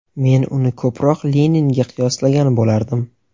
Men uni ko‘proq Leninga qiyoslagan bo‘lardim.